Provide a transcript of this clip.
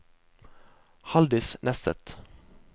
Halldis Nesset